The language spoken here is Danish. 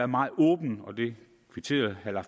meget åbne og det kvitterede herre